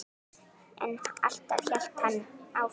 En alltaf hélt hann áfram.